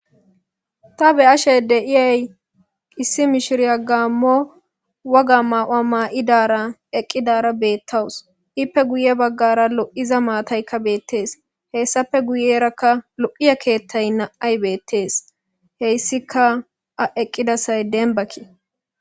Ta be'ashe deyi issi mishiriya gamo waga mayo mayada eqidara betawus ipe guye bagara loiza matayi betes hesapeka guyera lo'aya kethay na'muy betes hayisika eti eqidasay deniba